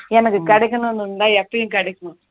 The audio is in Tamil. எனக்கு கிடைக்கணும்னு இருந்தா எப்பயும் கிடைக்கும்